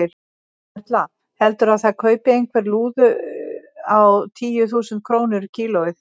Erla: Heldurðu að það kaupi einhver lúðu á tíu þúsund krónur kílóið?